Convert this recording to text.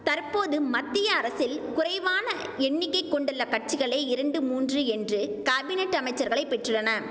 தற்போது மத்திய அரசில் குறைவான எண்ணிக்கை கொண்டுள்ள கட்சிகளே இரண்டு மூன்று என்று காபினட் அமைச்சர்களை பெற்றுள்ளன